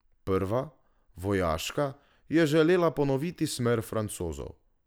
Prva, vojaška, je želela ponoviti smer Francozov.